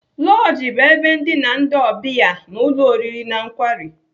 Lọji bụ ebe ndina ndị ọbịa n'ụlọ oriri na nkwari.